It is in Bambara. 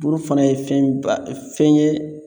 Bulu fana ye fɛnba fɛn yɛ